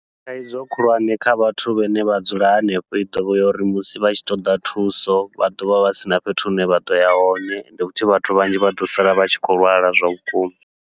Thaidzo khulwane kha vhathu vhane vha dzula hanefho, i ḓovha ya uri musi vha tshi ṱoḓa thuso vha ḓovha vha sina fhethu hune vha ḓoya hone, ende futhi vhathu vhanzhi vha ḓo sala vha tshi khou lwala zwa vhukuma.